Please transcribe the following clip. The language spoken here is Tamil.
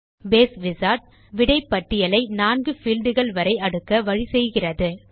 பேஸ் விசார்ட் விடை பட்டியலை 4 பீல்ட் கள் வரை அடுக்க வழி செய்கிறது